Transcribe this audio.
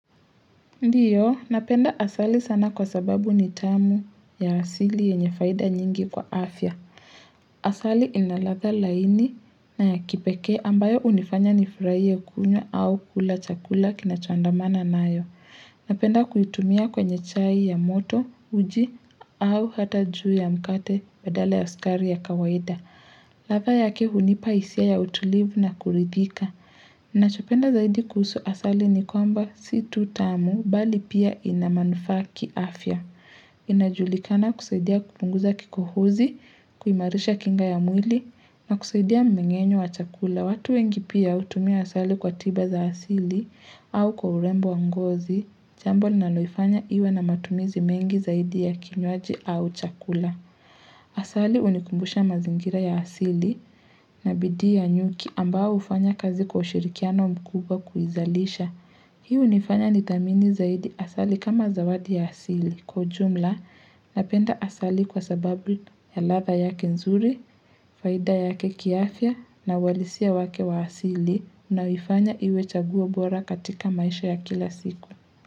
Ndiyo, napenda asali sana kwa sababu ni tamu ya asili yenye faida nyingi kwa afya. Asali inaladha laini na ya kipekee ambayo hunifanya nifurahiye kunywa au kula chakula kina choandamana nayo. Napenda kuitumia kwenye chai ya moto, uji au hata juu ya mkate badale ya sukari ya kawaida. Ladha yake hunipa hisia ya utulivu na kuridhika. Nachopenda zaidi kuhusu asali ni kwamba situ tamu bali pia inamaanufa kiafya. Inajulikana kusaidia kupunguza kikohozi, kuimarisha kinga ya mwili na kusaidia mmeng'enyo wa chakula. Watu wengi pia hutumia asali kwa tiba za asili au kwa urembo wa ngozi, jambo linaloifanya iwe na matumizi mengi zaidi ya kinywaji au chakula. Asali hunikumbusha mazingira ya asili na bidii ya nyuki ambao hufanya kazi kwa ushirikiano mkubwa kuizalisha. Hiu hunifanya nidhamini zaidi asali kama zawadi ya asili. Kwa ujumla napenda asali kwa sababu ya ladha yake nzuri, faida yake kiafya na uhalisia wake wa asili unayoifanya iwe chaguo bora katika maisha ya kila siku.